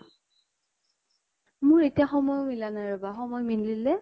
মোৰ এটিয়া সময়ো মিলা নাই ৰৰবা। সময় মিলিলে